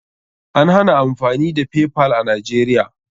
An hana amfani da Paypal a Najeriya.